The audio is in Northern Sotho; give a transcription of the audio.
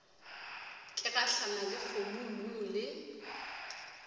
ke gahlana le dikgomommuu le